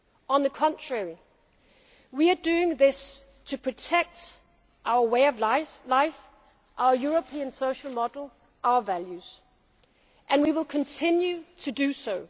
we are taking today and tomorrow should not be a departure from solidarity. On the contrary, we are doing these things to protect our way of life,